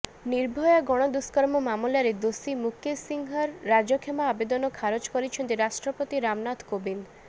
ନିର୍ଭୟା ଗଣଦୁଷ୍କର୍ମ ମାମଲାର ଦୋଷୀ ମୁକେଶ୍ ସିଂହର ରାଜକ୍ଷମା ଆବେଦନ ଖାରଜ କରିଛନ୍ତି ରାଷ୍ଟ୍ରପତି ରାମନାଥ୍ କୋବିନ୍ଦ୍